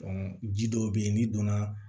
ji dɔw bɛ yen n'i donna